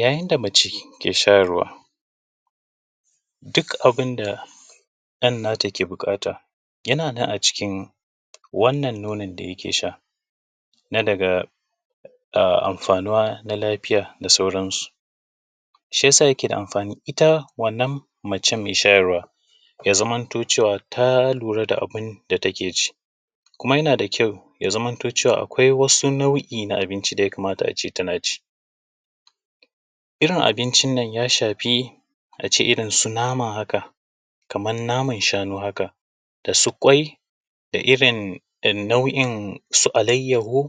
Yayin da mace ke shayarwa, duk abin da ɗan nata ke buƙata yana nan a jikin wannan nonon da yake sha. Na daga amfanuwa na lafiya da sauransu, shi yasa yake da amfani. Ita wannan macen mai shayarwa ya zamanto cewa ta lura da abin da take ci. Kuma yana da kyau ya zamanto cewa akwai nau’i na abinci da ya kamata a ce tana ci. Irin abincin nan ya shafi a ce irin su nama haka, irin su naman shanu haka, da su ƙwai da irin nau’in su alayyahu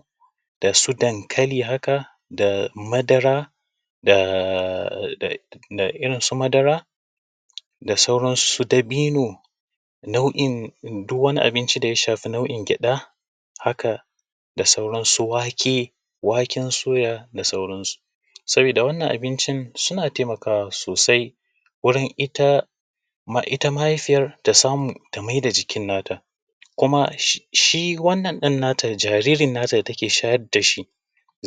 da su dankali haka, da madara da su dabino da duk wani abincin da ya shafi nau’in gyaɗa haka, da sauran su wake, waken soya da sauransu. Saboda wannan abincin suna taimakawa sosai wajen ita mahaifiyar ta samu ta maida jikin nata. Kuma shi wannan ɗan nata jariri da take shayar da shi,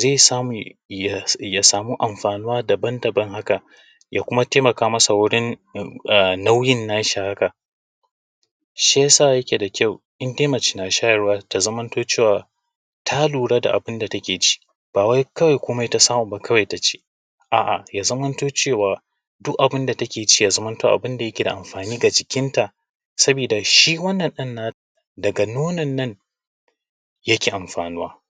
zai sami amfanuwa daban-daban. Haka ya kuma taimaka masa wurin nauyin nashi haka. Shi ya sa yake da kyau in dai mace na shayarwa, ya zamanto cewa ta lura da abin da take ci ba wai komai ta samu ta ci ba, a’a ya zamanto cewa duk abin da take ci ya zamana yana amfani a jikinta, saboda shi wannan ɗan nata daga nono yake amfanuwa.